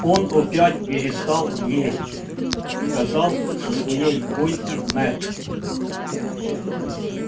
он опять перестал есть сказал со своей койки мэтт